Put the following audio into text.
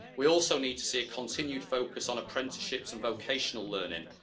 We also need to see a continued focus on apprenticeships and vocational learning.